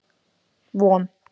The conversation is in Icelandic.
Von